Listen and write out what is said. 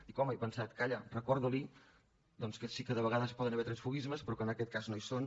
dic home he pensat calla recorda li doncs que sí que a vegades hi poden haver transfuguismes però que en aquest cas no hi són